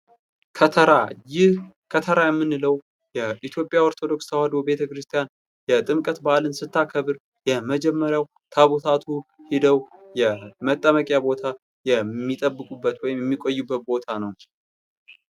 ከተራ ይህ ከተራ የምንለው የኢትዮጵያ ኦርቶዶክስ ተዋህዶ ቤተ-ክርስቲያን የጥምቀት በዓልን ስታከብር የመጀመሪያው ታቦታቱ ሄደው የመጠመቂያ ቦታ የሚጠብቁበት ወይም የሚቆዩበት ቦታ ነው።